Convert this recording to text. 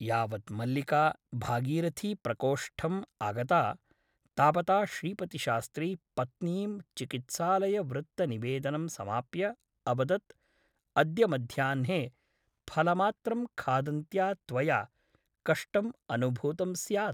यावत् मल्लिका भागीरथीप्रकोष्ठम् आगता तावता श्रीपतिशास्त्री पत्नीं चिकित्सालयवृत्तनिवेदनं समाप्य अवदत् अद्य मध्याह्ने फलमात्रं खादन्त्या त्वया कष्टम् अनुभूतं स्यात् ।